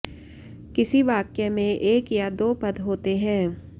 किसी वाक्य में एक या दो पद होते हैं